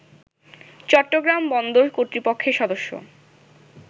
চট্টগ্রাম বন্দর কর্তৃপক্ষের সদস্য